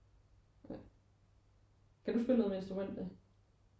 Ja kan du spille noget med instrument da?